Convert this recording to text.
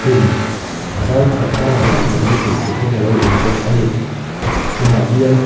khum zau that pangai tak mai hi hmuh theih hian alo awm bawk ani khum ah hian--